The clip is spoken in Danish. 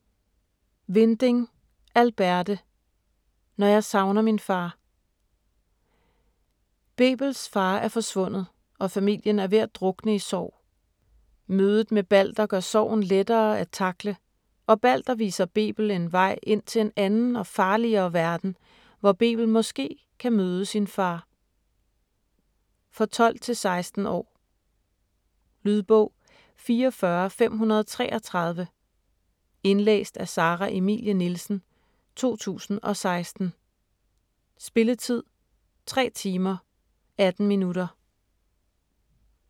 Winding, Alberte: Når jeg savner min far Bebels far er forsvundet, og familien er ved at drukne i sorg. Mødet med Balder gør sorgen lettere at takle, og Balder viser Bebel en vej ind til en anden og farligere verden, hvor Bebel måske kan møde sin far. For 12-16 år. Lydbog 44533 Indlæst af Sara Emilie Nielsen, 2016. Spilletid: 3 timer, 18 minutter.